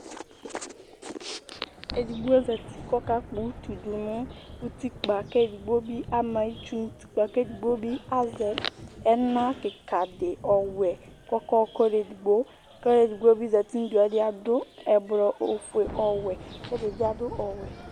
Ɛɖigbo zɛti kʋ ɔka kpɔ ʋtu ɖʋŋu ʋtikpa Ɛɖìní ama itsu Ɛɖìní azɛ ɛna kikaɖi ɔwɛ kʋ ɔka yɔka ɔluɛɖigbo kʋ ɔluɛɖigbo bi zɛti Aɖu ɛblɔ, ɔfʋe, ɔwɛ kʋ ɛɖìbi aɖu ɔwɛ